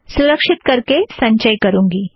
सुरक्षीत करके संचय करूँगी